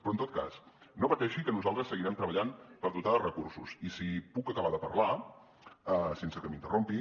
però en tot cas no pateixi que nosaltres seguirem treballant per dotar de recursos i si puc acabar de parlar sense que m’interrompi